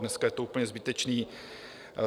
Dneska je to úplně zbytečné.